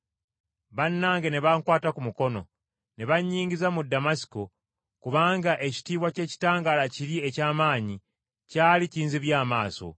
Bannange ne bankwata ku mukono ne bannyingiza mu Damasiko, kubanga ekitiibwa ky’ekitangaala kiri eky’amaanyi kyali kinzibye amaaso.